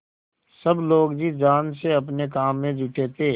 सब लोग जी जान से अपने काम में जुटे थे